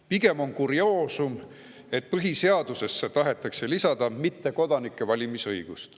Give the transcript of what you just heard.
Pigem on kurioosum, et põhiseadusesse tahetakse lisada mittekodanike valimisõigust.